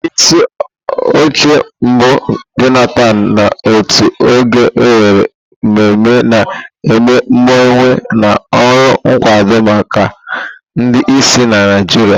Onyeisi oche mbu Jonathan n'otu oge, nwere mmemme na-eme mgbanwe na ọrụ nkwado maka ndị ìsì na Naijiria.